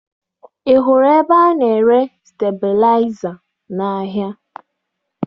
Ị hụrụ ebe a na-ere stebilaịza n'ahịa?